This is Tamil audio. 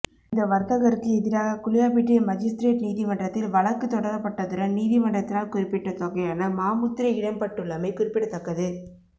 இந்த வர்த்தகருக்கு எதிராக குளியாப்பிட்டிய மஜிஸ்திரேட் நீதிமன்றத்தில் வழக்கு தொடரப்பட்டதுடன் நீதிமன்றத்தினால் குறிப்பிட்ட தொகையான மா முத்திரை இடப்பட்டுள்ளமை குறிப்பிடத்தக்கது